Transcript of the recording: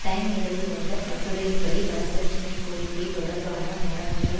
time இதழில் வந்த கட்டுரையின்படி வரதட்சினைக் கோரிக்கை தொடர்பான மரணங்கள்